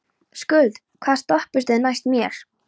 Skuld, hvaða stoppistöð er næst mér?